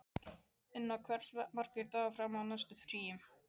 Inna, hversu margir dagar fram að næsta fríi?